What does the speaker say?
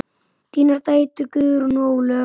Þínar dætur, Guðrún og Ólöf.